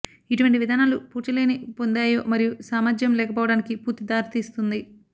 ఇటువంటి విధానాలు పూడ్చలేని పొందాయో మరియు సామర్థ్యం లేకపోవడానికి పూర్తి దారితీస్తుంది